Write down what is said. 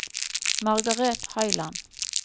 Margareth Høiland